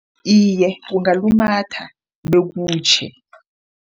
Iye, ungalumatha bekutjhe.